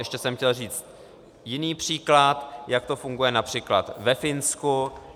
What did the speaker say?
Ještě jsem chtěl říct jiný příklad, jak to funguje například ve Finsku.